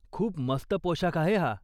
खूप मस्त पोशाख आहे हा!